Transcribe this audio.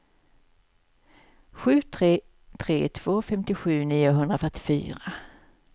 sju tre tre två femtiosju niohundrafyrtiofyra